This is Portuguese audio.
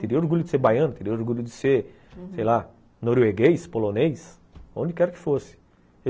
Teria orgulho de ser baiano, teria orgulho de ser sei lá, norueguês, polonês, onde quer que fosse.